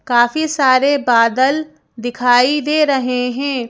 काफी सारे बादल दिखाई दे रहे हैं।